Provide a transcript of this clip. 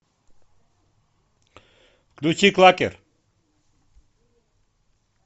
включи клакер